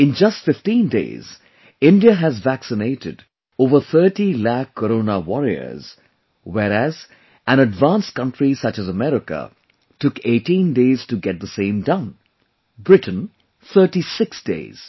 In just 15 days, India has vaccinated over 30 lakh Corona Warriors, whereas an advanced country such as America took 18 days to get the same done; Britain 36 days